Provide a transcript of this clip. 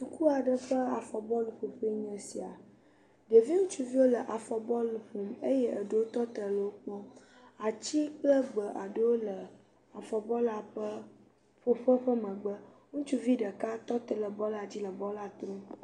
Suku aɖe ƒe afɔ bɔlu ƒoƒe aɖee nye esia, ɖevi ŋutsuvi aɖewo le afɔ bɔlu ƒom eye eɖewo tɔ te le wo kpɔm ati kple egbe aɖewo le afɔbu lua ƒoƒe ƒe megbe, ŋutsuvi aɖe tɔ te ɖe bɔlua dzile bɔlua trom